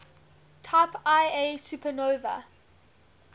type ia supernovae